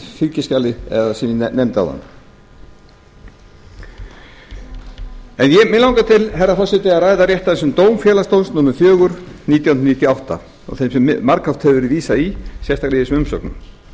fylgiskjalinu sem ég nefndi áðan mig langar til herra forseti að ræða af þessum dómfélagsdóm númer fjögur nítján hundruð níutíu og átta sem margoft hefur verið vísað í sérstaklega í þessum umsögnum